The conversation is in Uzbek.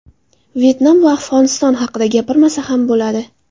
Vyetnam va Afg‘oniston haqida gapirmasa ham bo‘ladi.